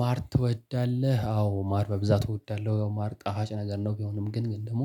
ማር ትወዳለህ አዎ ማር በብዛት እወዳለሁ ማር ጣፋጭ ነገር ነው። ቢሆንም ግን ግን ደግሞ